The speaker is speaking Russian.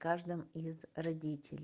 каждым из родителе